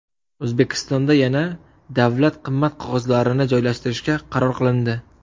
O‘zbekistonda yana davlat qimmat qog‘ozlarini joylashtirishga qaror qilindi .